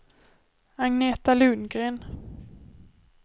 Agneta Lundgren